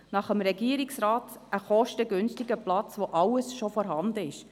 Gemäss Regierungsrat ein kostengünstiger Platz, bei dem alles schon vorhanden sei.